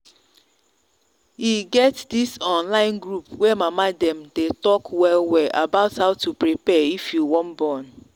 e get this online group way mama them day talk well well about how to prepare if you wan born